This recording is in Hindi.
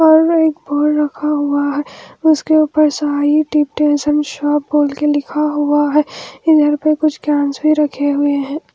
और एक बोल रखा हुआ है उसके ऊपर साईं डिपटेंशन शॉप बोल के लिखा हुआ है इधर पे कुछ भी रखे हुए हैं।